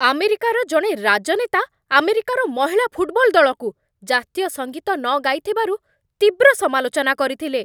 ଆମେରିକାର ଜଣେ ରାଜନେତା ଆମେରିକାର ମହିଳା ଫୁଟବଲ୍ ଦଳକୁ ଜାତୀୟ ସଙ୍ଗୀତ ନ ଗାଇଥିବାରୁ ତୀବ୍ର ସମାଲୋଚନା କରିଥିଲେ।